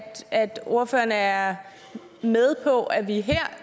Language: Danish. ordføreren er med på at vi her